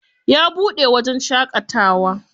Ya buɗe wajen shaƙatawa.